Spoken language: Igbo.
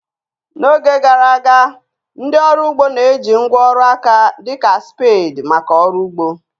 N'oge gara aga, ndị ọrụ ugbo na-eji ngwá ọrụ aka dị ka spades maka ọrụ ugbo